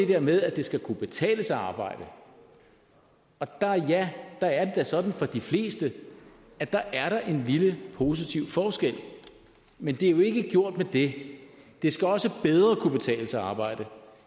der med at det skal kunne betale sig at arbejde og ja der er sådan for de fleste at der er en lille positiv forskel men det er jo ikke gjort med det det skal også bedre kunne betale sig at arbejde